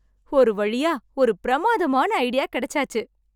ஒருவழியா ஒரு பிரமாதமான ஐடியா கிடைச்சாச்சு!